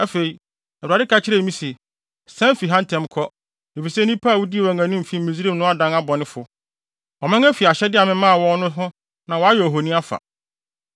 Afei, Awurade ka kyerɛɛ me se, “Sian fi ha ntɛm kɔ, efisɛ nnipa a wudii wɔn anim fi Misraim no adan abɔnefo. Wɔaman afi ahyɛde a memaa wɔn no ho na wɔayɛ ohoni afa.”